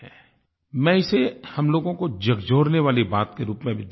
मैं इसे हम लोगों को झकझोरने वाली बात के रूप में भी देखता हूँ